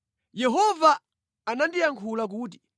Yehova anandiyankhula kuti: